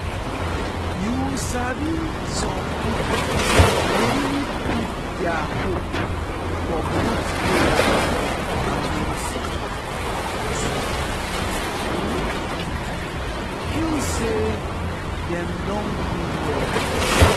you sabi some people dey really put their hope for both prayer and medicine to um feel say dem don heal well.